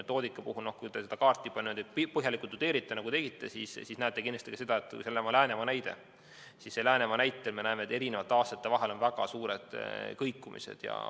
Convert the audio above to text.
Kui te seda kaarti põhjalikult tudeerite, nagu te tegite, siis te näete kindlasti Läänemaa näitel, et eri aastatel on väga suured kõikumised.